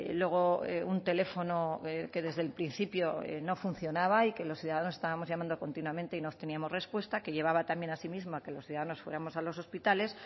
luego un teléfono que desde el principio no funcionaba y que los ciudadanos estábamos llamando continuamente y no obteníamos respuesta que llevaba también asimismo a que los ciudadanos fuéramos a los hospitales